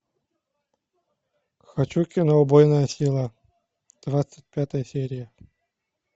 хочу кино убойная сила двадцать пятая серия